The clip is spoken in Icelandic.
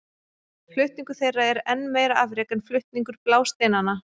Flutningur þeirra er enn meira afrek en flutningur blásteinanna.